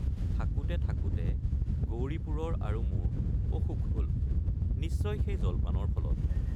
থাকোঁতে থাকোঁতে গৌৰীপুৰৰ আৰু মোৰ অসুখ হল—নিশ্চয় সেই জলপানৰ ফলত।